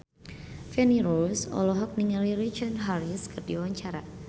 Feni Rose olohok ningali Richard Harris keur diwawancara